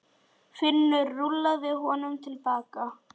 Finnur rúllaði honum til baka.